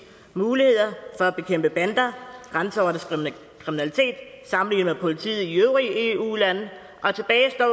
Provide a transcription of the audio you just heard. muligheder for at bekæmpe bander og grænseoverskridende kriminalitet sammenlignet med politiet i de øvrige eu lande og tilbage står